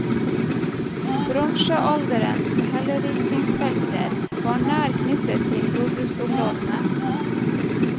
Bronsealderens helleristningsfelter var nær knyttet til jordbruksområdene.